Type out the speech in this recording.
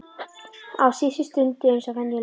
Á seinustu stundu eins og venjulega.